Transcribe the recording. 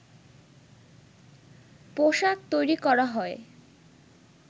পোশাক তৈরি করা হয়